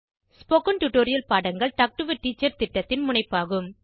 spoken tutorial பாடங்கள் talk to a teacher திட்டத்தின் முனைப்பாகும்